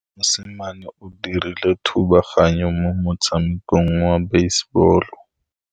Mosimane o dirile thubaganyô mo motshamekong wa basebôlô.